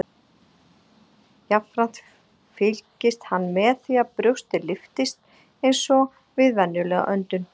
Jafnframt fylgist hann með því að brjóstið lyftist eins og við venjulega öndun.